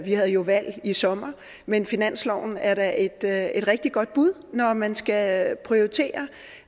vi havde jo valg i sommer men finansloven er da et da et rigtig godt bud når man skal prioritere